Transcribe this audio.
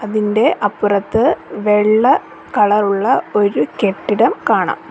അതിൻ്റെ അപ്പുറത്ത് വെള്ള കളറുള്ള ഒരു കെട്ടിടം കാണാം.